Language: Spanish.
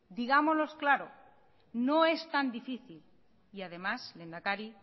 digámoslo claro no es tan difícil y además lehendakari